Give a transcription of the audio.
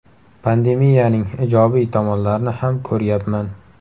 Pandemiyaning ijobiy tomonlarini ham ko‘ryapman.